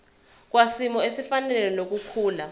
kwisimo esifanele nokukhula